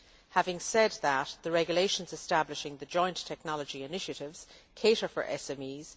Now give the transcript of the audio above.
Having said that, the regulations establishing the joint technology initiatives cater for SMEs.